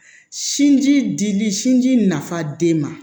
Sinji di dili sinji nafa den ma